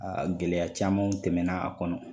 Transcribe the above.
Aa gɛlɛya camanw tɛmɛna a kɔnɔ